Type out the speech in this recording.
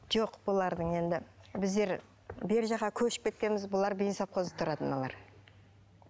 жоқ бұлардың енді біздер бергі жаққа көшіп кеткенбіз бұлар тұрады мыналар